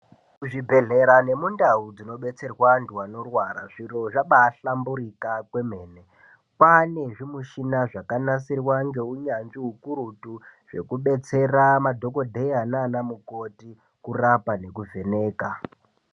Kuzvibhedhlera nemunhau dzinobetserwa antu anorwara zviro zvabahlamburika kwemene. kwane zvimishina zvakanasirwa ngeunyanzvi hukurutu. Zvekubetsera madhogodheya nana mukoti kurapa nekuvheneka.